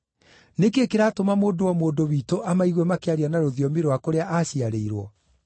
Nĩ kĩĩ kĩratũma mũndũ o mũndũ witũ amaigue makĩaria na rũthiomi rwa kũrĩa aaciarĩirwo?